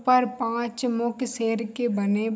पर पाँच मुख शेर के बने --